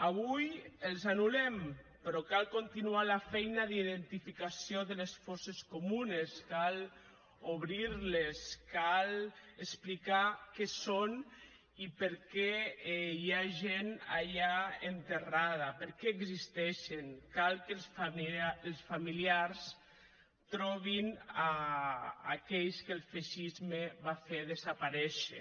avui els anul·lem però cal continuar la feina d’identificació de les fosses comunes cal obrirles cal explicar què són i per què hi ha gent allà enterrada per què existeixen cal que els familiars trobin aquells que el feixisme va fer desaparèixer